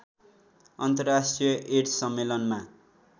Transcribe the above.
अन्तर्राष्ट्रिय एड्स सम्मेलनमा